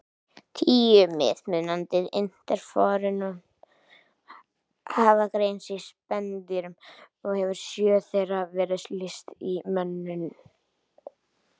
Tíu mismunandi interferón hafa greinst í spendýrum og hefur sjö þeirra verið lýst í mönnum.